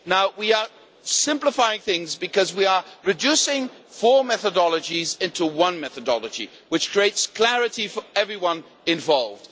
We are simplifying things because we are reducing four methodologies into one methodology, which creates clarity for everyone involved.